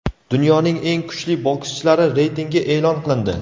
Dunyoning eng kuchli bokschilari reytingi e’lon qilindi.